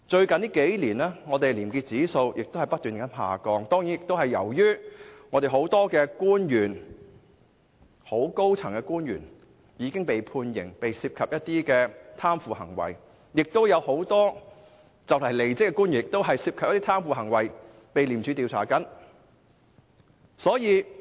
近年，本港的廉潔指數不斷下降，這當然是由於很多高層官員因涉及貪腐行為而被判刑，亦有很多快將離職的官員因涉嫌貪腐，正被廉政公署調查。